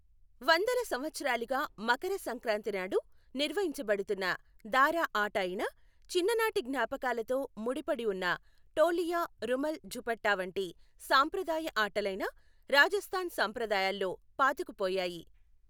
వందల సంవత్సరాలుగా మకర సంక్రాంతి నాడు నిర్వహించబడుతున్న దారా ఆట అయినా, చిన్ననాటి జ్ఞాపకాలతో ముడిపడి ఉన్న టోలియా రుమల్ ఝపట్టా వంటి సాంప్రదాయ ఆటలైనా రాజస్థాన్ సంప్రదాయాల్లో పాతుకుపోయాయి.